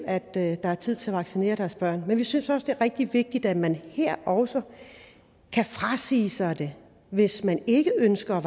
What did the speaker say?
at det er tid til at vaccinere deres børn men vi synes også det er rigtig vigtigt at man her også kan frasige sig det hvis man ikke ønsker at